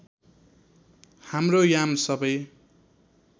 हाम्रो याम सबै